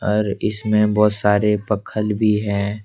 और इसमें बहुत सारे पक्खल भी हैं ।